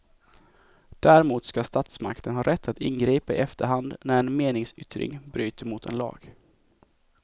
Däremot ska statsmakten ha rätt att ingripa i efterhand när en meningsyttring bryter mot en lag.